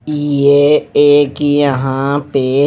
ये एक यहां पे--